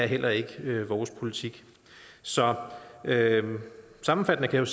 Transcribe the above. heller ikke er vores politik så sammenfattende kan